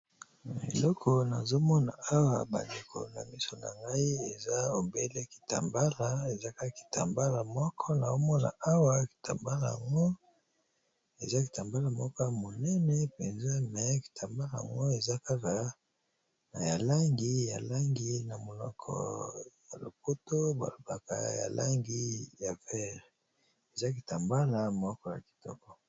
Eloko nazomona awa bandeko na miso na ngai eza obele kitambala eza kakitambala moko na omona awa kitambala ngo ezakitambala moko ya monene mpenza me kitambala ngo eza kaka na yalangi ya langi na monoko na lopoto balobaka yalangi ya vert ezakitambala moko ya kitoko.